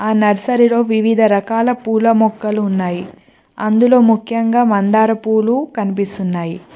ఆ నర్సరీలో వివిధ రకాల పూల మొక్కలు ఉన్నాయి అందులో ముఖ్యంగా మందార పూలు కనిపిస్తున్నాయి.